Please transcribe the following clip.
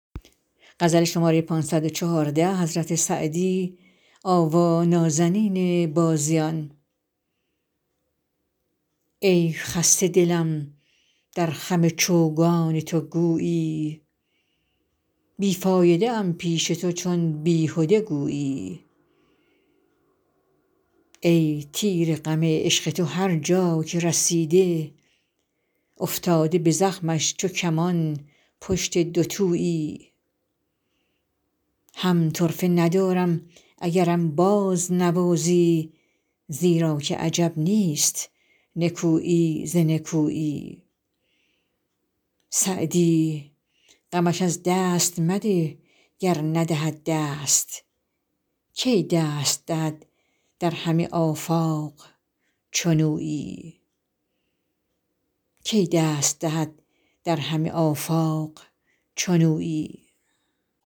ای خسته دلم در خم چوگان تو گویی بی فایده ام پیش تو چون بیهده گویی ای تیر غم عشق تو هر جا که رسیده افتاده به زخمش چو کمان پشت دوتویی هم طرفه ندارم اگرم بازنوازی زیرا که عجب نیست نکویی ز نکویی سعدی غمش از دست مده گر ندهد دست کی دست دهد در همه آفاق چنویی